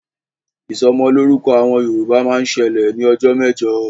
Ìsọmọlọ́rúkọ àwọn Yorùbá máa ń ṣẹlẹ̀ ní ọjọ́ mẹ́jọ